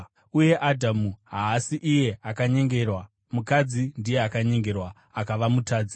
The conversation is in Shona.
Uye Adhamu haasi iye akanyengerwa; mukadzi ndiye akanyengerwa akava mutadzi.